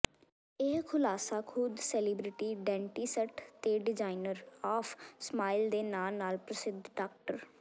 ਇਹ ਖੁਲਾਸਾ ਖੁਦ ਸੈਲੀਬ੍ਰਿਟੀ ਡੈਂਟਿਸਟ ਤੇ ਡਿਜ਼ਾਈਨਰ ਆਫ ਸਮਾਈਲ ਦੇ ਨਾਂ ਨਾਲ ਪ੍ਰਸਿੱਧ ਡਾ